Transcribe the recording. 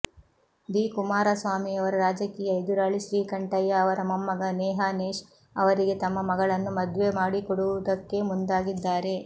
D ಕುಮಾರಸ್ವಾಮಿಯರ ರಾಜಕೀಯ ಎದುರಾಳಿ ಶ್ರೀಕಂಠಯ್ಯ ಅವರ ಮೊಮ್ಮಗ ನೇಹಾನೇಶ್ ಅವರಿಗೆ ತಮ್ಮ ಮಗಳನ್ನು ಮದ್ವೆ ಮಾಡಿಕೊಡುವುದಕ್ಕೆ ಮುಂದಾಗಿದ್ದಾರೆ